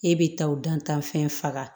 E bɛ taa o dantanfɛn faga